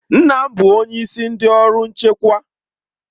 Nna m bụ onyeisi ndị ọrụ nchekwa.